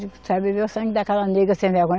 Só ia beber o sangue daquela negra sem vergonha.